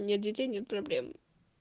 нет детей нет проблем